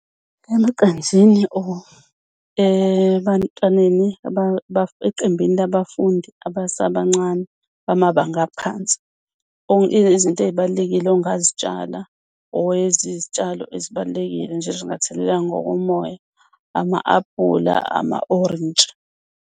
Emaqenjini or ebantwaneni eqembini labafundi abasabancane bamabanga aphansi, izinto ey'balulekile ongazitshala or izitshalo ezibalulekile nje ezingathelelwa ngokomoya ama-aphula, amawolintshi.